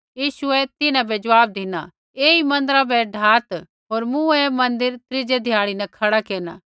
यीशुऐ तिन्हां बै ज़वाब धिना ऐई मन्दिरा बै ढाआत होर मूँ ऐ मन्दिर त्रीजै ध्याड़ै न खड़ा केरना